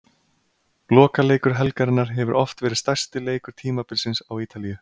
Lokaleikur helgarinnar hefur oft verið stærsti leikur tímabilsins á Ítalíu.